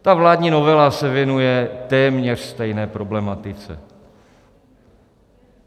Ta vládní novela se věnuje téměř stejné problematice.